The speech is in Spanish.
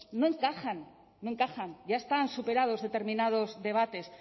no encajan ya están superados determinados debates